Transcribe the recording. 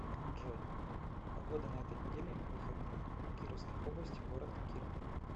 джой погода на этой неделе в выходные в кировской области город киров